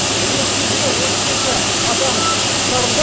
өрт кезінде отыз екі адам құтқарылды